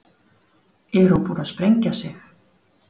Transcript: Er hún búin að sprengja sig?